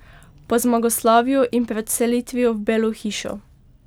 Po zmagoslavju in pred selitvijo v Belo hišo.